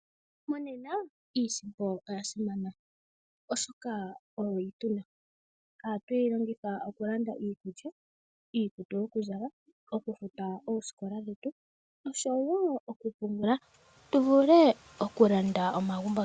Mongaashingeyi iisimpo oya simana oshoka oyo yi tuna nohatu yi longitha okulanda iikulya, iikutu, okufuta oosikola dhetu oshowo okupungula tu vule okulanda omagumbo.